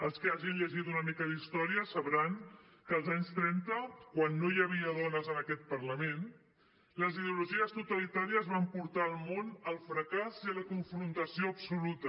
els que hagin llegit una mica d’història sabran que als anys trenta quan no hi havia dones en aquest parlament les ideologies totalitàries van portar el món al fracàs i a la confrontació absoluta